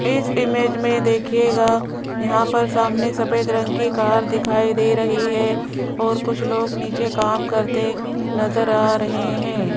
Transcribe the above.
इस इमेज में देखिएगा यहां पर सामने सफेद रंग की कार दिखाई दे रही है और कुछ लोग नीचे काम करते नजर आ रहे हैं।